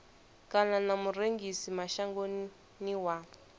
kana na murengisi mashangoni wa